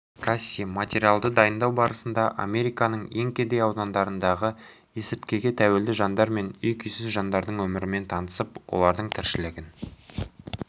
касси материалды дайындау барысында американың ең кедей аудандарындағы есірткіге тәуелді жандар мен үй-күйсіз жандардың өмірімен танысып олардың тіршілігін